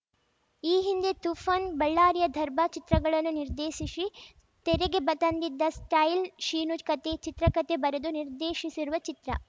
ಈ ಹಿಂದೆ ತೂಫಾನ್‌ ಬಳ್ಳಾರಿಯ ದರ್ಬಾ ಚಿತ್ರಗಳನ್ನು ನಿರ್ದೇಶಿಸಿ ತೆರೆಗೆ ಬ ತಂದಿದ್ದ ಸ್ಟೈಲ್‌ ಶೀನು ಕತೆ ಚಿತ್ರಕತೆ ಬರೆದು ನಿರ್ದೇಶಿಸಿರುವ ಚಿತ್ರ